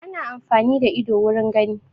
Ana amfani da ido wurin gani